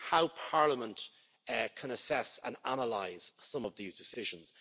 how Parliament can assess and analyse some of these decisions